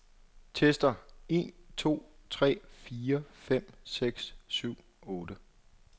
Tester en to tre fire fem seks syv otte.